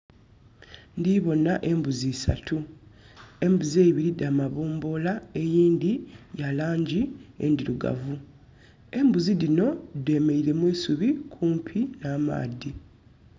Ndoboona embuzi isatu. Embuzi eibiri dha mabomboola, eyindi ya langi endirugavu. Embuzi dino demereire mwisubi kumpi na maadhi